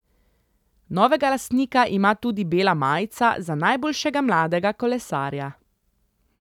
Novega lastnika ima tudi bela majica za najboljšega mladega kolesarja.